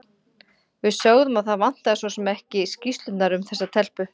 Við sögðum að það vantaði svo sem ekki skýrslurnar um þessa telpu.